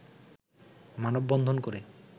মানববন্ধন করে